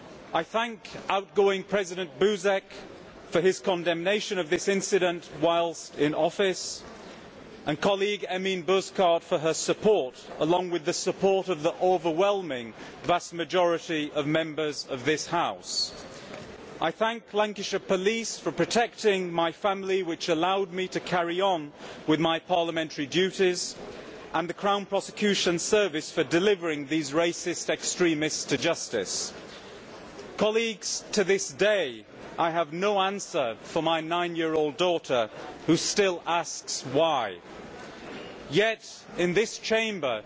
I thank outgoing President Buzek for his condemnation of this incident whilst in office, and my colleague Emine Bozkurt for her support, along with the support of the overwhelming majority of Members of the House. I thank the Lancashire police for protecting my family, which allowed me to carry on with my parliamentary duties, and the Crown Prosecution Service for delivering these racist extremists to justice. Colleagues, to this day I have no answer to give my nine year old daughter, who still asks why. Yet in this Chamber